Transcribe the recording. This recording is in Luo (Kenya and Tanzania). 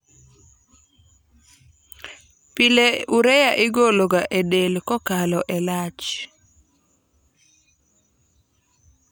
PIle urea igolo ga e del kokalo e lach